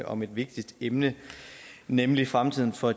om et vigtigt emne nemlig fremtiden for